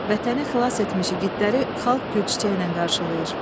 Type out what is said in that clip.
Vətəni xilas etmiş igidləri xalq gül-çiçəklə qarşılayır.